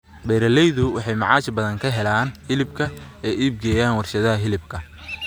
Beeralaydu waxay macaash badan ka helaan hilibka ay u iibgeeyaan warshadaha hilibka.